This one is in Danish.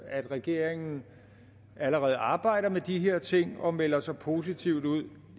at regeringen allerede arbejder med de her ting og melder så positivt ud